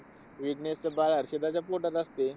विघ्नेशचं बाळ हर्षदच्या पोटात असतं.